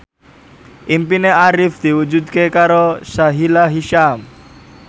impine Arif diwujudke karo Sahila Hisyam